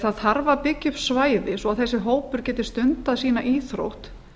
það þarf að byggja upp svæði svo þessi hópur geti stundað sína íþrótt